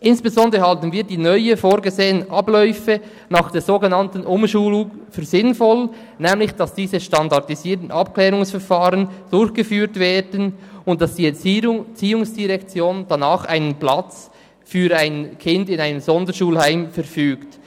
Insbesondere halten wir die neu vorgesehenen Abläufe nach der sogenannten Umschulung für sinnvoll, nämlich dass die SAV durchgeführt werden und dass die ERZ danach einen Platz für ein Kind in einem Sonderschulheim verfügt.